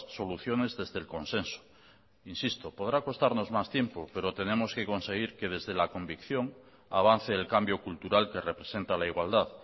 soluciones desde el consenso insisto podrá costarnos más tiempo pero tenemos que conseguir que desde la convicción avance el cambio cultural que representa la igualdad